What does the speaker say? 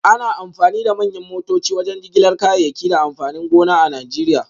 Ana amfani da manyan motoci wajen jigilar kayayyaki da amfanin gona a Najeriya